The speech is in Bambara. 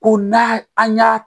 O na an y'a